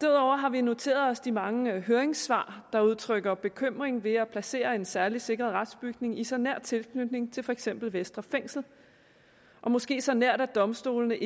derudover har vi noteret os de mange høringssvar der udtrykker bekymring ved at placere en særligt sikret retsbygning i så nær tilknytning til for eksempel vestre fængsel måske så nært at domstolene